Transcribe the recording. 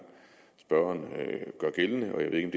spørgeren gør gældende jeg ved ikke